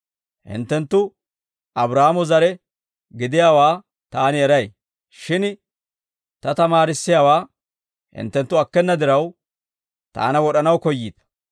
Hinttenttu Abraahaamo zare gidiyaawaa Taani eray; shin Ta tamaarissiyaawaa hinttenttu akkena diraw, Taana wod'anaw koyyiita.